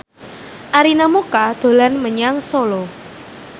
Arina Mocca dolan menyang Solo